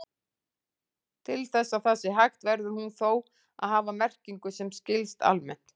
Til þess að það sé hægt verður hún þó að hafa merkingu sem skilst almennt.